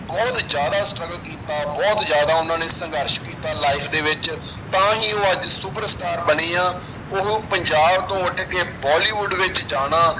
ਬਹੁਤ ਜ਼ਿਆਦਾ struggle ਕੀਤਾ ਬਹੁਤ ਜ਼ਿਆਦਾ ਉਹਨਾਂ ਨੇ ਸੰਘਰਸ਼ ਕੀਤਾ life ਦੇ ਵਿੱਚ ਤਾਂ ਹੀ ਉਹ ਅੱਜ super star ਬਣੇ ਆਂ ਉਹ ਪੰਜਾਬ ਤੋਂ ਉੱਠ ਕੇ ਬੋਲੀਵੁਡ ਵਿੱਚ ਜਾਣਾ,